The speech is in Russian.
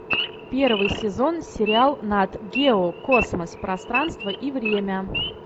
первый сезон сериал нат гео космос пространство и время